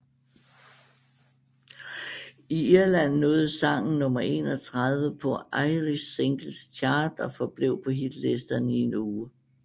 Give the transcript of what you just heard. I Irland nåede sangen nummer 31 på Irish Singles Chart og forblev på hitlisterne i en uge